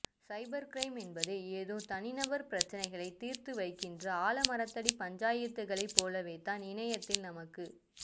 சைபர் crime என்பதே ஏதோ தனிநபர் பிரச்சனைகளை தீர்த்துவைக்கிற ஆலமரத்தடி பஞ்சாயத்துகளைப் போலவேதான் இணையத்தில் நமக்கு